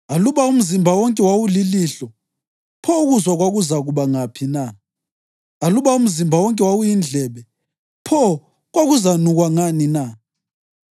Aluba umzimba wonke wawulilihlo, pho ukuzwa kwakuzakuba ngaphi na? Aluba umzimba wonke wawuyindlebe, pho kwakuzanukwa ngani na?